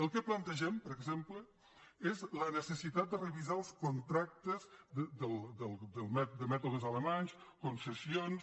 el que plante gem per exemple és la necessitat de revisar els contractes de mètodes alemanys concessions